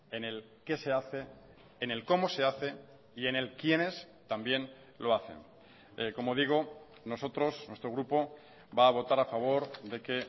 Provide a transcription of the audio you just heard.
en el qué se hace en el cómo se hace y en el quiénes también lo hacen como digo nosotros nuestro grupo va a votar a favor de que